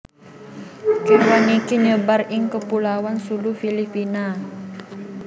kewan iki nyebar ing kepulauan Sulu Filipina